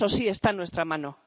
Eso sí está en nuestra mano.